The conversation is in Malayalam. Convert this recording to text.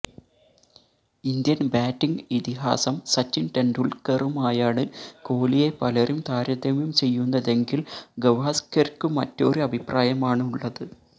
ഇന്ത്യന് ബാറ്റിങ് ഇതിഹാസം സച്ചിന് ടെണ്ടുല്ക്കറുമായാണ് കോലിയെ പലരും താരതമ്യം ചെയ്യുന്നതെങ്കില് ഗവാസ്കര്ക്കു മറ്റൊരു അഭിപ്രായമാണുള്ളത്